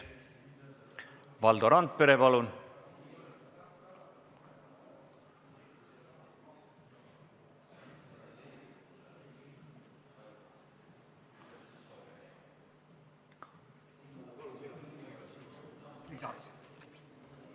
Valdo Randpere, palun!